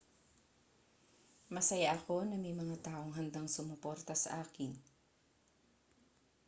masaya ako na may mga taong handang sumuporta sa akin